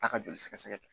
Taa ka joli sɛgɛsɛgɛ